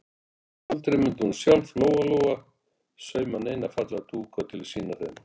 Aldrei mundi hún sjálf, Lóa-Lóa, sauma neina fallega dúka til að sýna þeim.